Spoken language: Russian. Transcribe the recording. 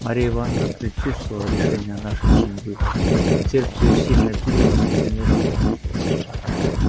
марья ивановна предчувствовала решение нашей судьбы сердце её сильно билось и замирало